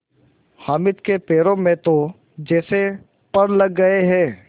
हामिद के पैरों में तो जैसे पर लग गए हैं